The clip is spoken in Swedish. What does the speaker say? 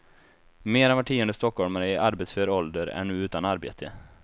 Mer än var tionde stockholmare i arbetsför ålder är nu utan arbete.